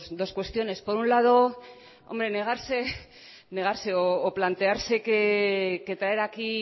dos cuestiones por un lado hombre negarse negarse o plantearse que traer aquí